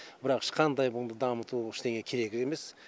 бірақ ешқандай мұны дамыту ештеңе керек емес